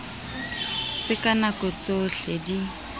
se ka nako tsohle di